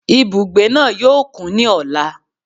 Ibùgbé náà yóò kún ní ọ̀la